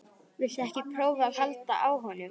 Viltu ekki prófa að halda á honum?